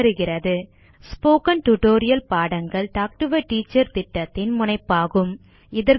contact at spoken hyphen tutorial dot org spoken tutorial பாடங்கள் talk to a teacher திட்டத்தின் முனைப்பாகும்